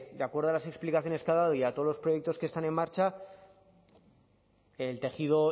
de acuerdo a las explicaciones que ha dado y a todos los proyectos que están en marcha el tejido